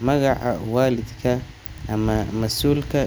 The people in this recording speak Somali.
magaca waalidka ama mas’uulka.